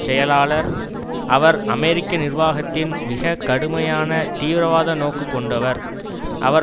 செயலாளர்அவர் அமெரிக்க நிர்வாகத்தின் மிக கடுமையான தீவிரவாத நோக்கு கொண்டவர் அவர்